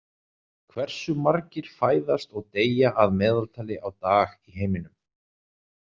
Hversu margir fæðast og deyja að meðaltali á dag í heiminum?